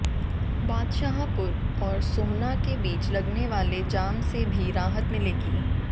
बादशाहपुर और सोहना के बीच लगने वाले जाम से भी राहत मिलेगी